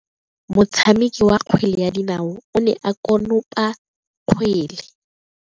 Motshameki wa kgwele ya dinao o ne a konopa kgwele.